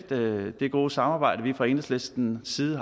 det gode samarbejde vi fra enhedslistens side